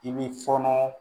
I b'i fɔɔnɔ